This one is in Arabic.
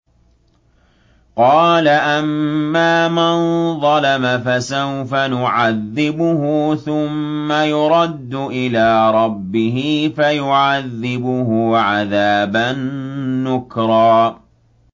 قَالَ أَمَّا مَن ظَلَمَ فَسَوْفَ نُعَذِّبُهُ ثُمَّ يُرَدُّ إِلَىٰ رَبِّهِ فَيُعَذِّبُهُ عَذَابًا نُّكْرًا